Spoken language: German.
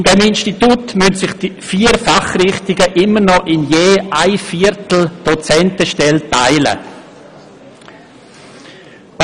In diesem Institut müssen sich die vier Fachrichtungen immer noch je ein Viertel einer Dozentenstelle teilen.